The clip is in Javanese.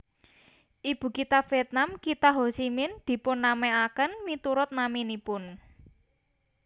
Ibukitha Vietnam kitha Ho Chi Minh dipunnamèaken miturut naminipun